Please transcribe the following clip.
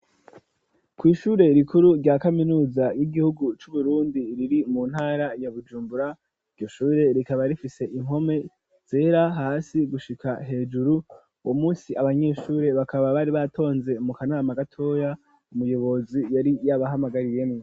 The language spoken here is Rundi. Kw'ishure rikuru rya kaminuza y'igihugu c'uburundi riri mu ntara ya bujumbura iryo shure rikaba rifise inpome zera hasi gushika hejuru wo munsi abanyeshure bakaba bari batonze mu kanama gatoya umuyobozi yari yabahamagariyemwo.